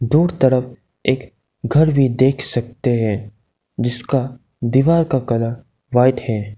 दूर तरफ एक घर भी देख सकते हैं जिसका दीवार का कलर व्हाइट है।